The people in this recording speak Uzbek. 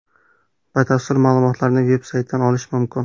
Batafsil ma’lumotni veb-saytdan olish mumkin.